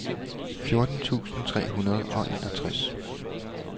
fjorten tusind tre hundrede og enogtres